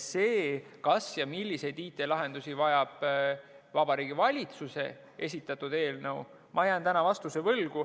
Selle kohta, kas ja milliseid IT-lahendusi vajab Vabariigi Valitsuse esitatud eelnõu, ma jään täna vastuse võlgu.